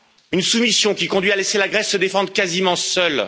Une soumission qui conduit à laisser la Grèce se défendre quasiment seule.